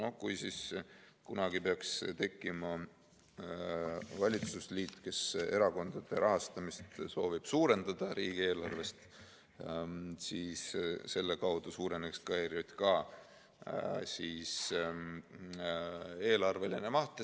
Kui kunagi peaks tekkima valitsusliit, kes soovib erakondade rahastamist riigieelarvest suurendada, siis selle kaudu suureneks ka ERJK eelarveline maht.